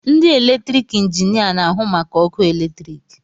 Ndị eletrik injinia na-ahụ maka ọkụ eletrik